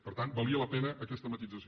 per tant valia la pena aquesta matisació